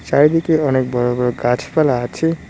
চারিদিকে অনেক বড় বড় গাছপালা আছে।